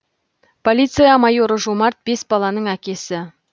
полиция майоры жомарт бес баланың әкесі